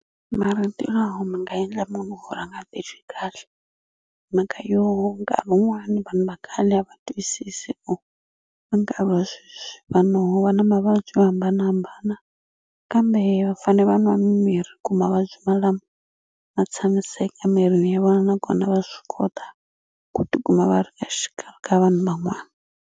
Marito lawa ma nga endla munhu ku ri a nga titwi kahle hi mhaka yo nkarhi wun'wani vanhu va khale a va twisisi or ka nkarhi wa sweswi vanhu va na mavabyi yo hambanahambana kambe va fane va nwa mimirhi ku mavabyi malamo ma tshamiseka mirini ya vona nakona va swi kota ku tikuma va ri exikarhi ka vanhu van'wana.